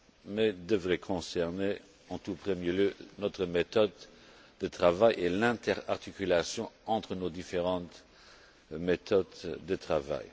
mais devrait concerner en tout premier lieu notre méthode de travail et l'interarticulation entre nos différentes méthodes de travail.